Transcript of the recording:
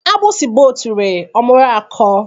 Agbusi gba otule, ọ mụrụ akọ